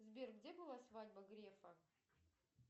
сбер где была свадьба грефа